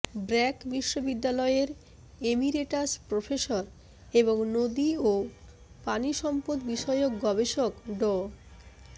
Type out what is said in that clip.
ব্র্যাক বিশ্ববিদ্যালয়ের emeritus professor এবং নদী ও পানিসম্পদ বিষয়ক গবেষক ড